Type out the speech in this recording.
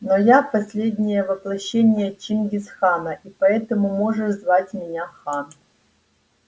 но я последнее воплощение чингис хана и поэтому можешь звать меня хан